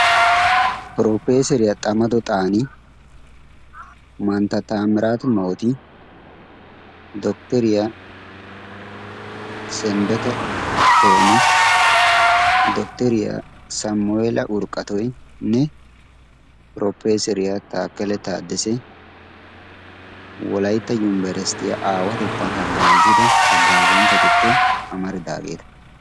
Piroopeeseriya Xamado Xaani, mantta Taamiraatu Mooti, dotoriya Sendeqe Toomi, dotoriya Samu'eela Urqatoynne propeeseriya taakkele taaddese wolaytta yumberesttiya aawatettan hagaazida haggaazanchchatuppe amaridageeta.